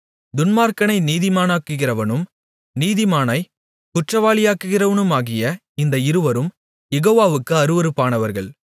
துன்மார்க்கனை நீதிமானாக்குகிறவனும் நீதிமானைக் குற்றவாளியாக்குகிறவனுமாகிய இந்த இருவரும் யெகோவாவுக்கு அருவருப்பானவர்கள்